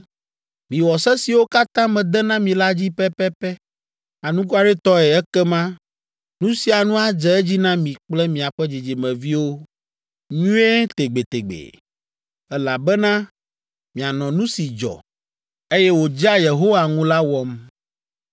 Miwɔ se siwo katã mede na mi la dzi pɛpɛpɛ anukwaretɔe ekema nu sia nu adze edzi na mi kple miaƒe dzidzimeviwo nyuie tegbetegbe, elabena mianɔ nu si dzɔ, eye wòdzea Yehowa ŋu la wɔm.